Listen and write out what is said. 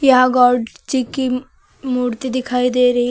यहा गॉड जी की मूर्ति दिखाई दे रही--